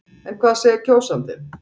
En hvað segir kjósandinn?